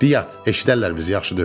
Diyat, eşidərlər bizi yaxşı deyil.